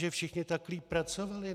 Že všichni tam líp pracovali?